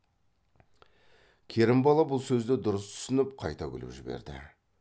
керімбала бұл сөзді дұрыс түсініп қайта күліп жіберді